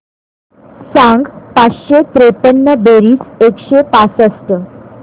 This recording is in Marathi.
सांग पाचशे त्रेपन्न बेरीज एकशे पासष्ट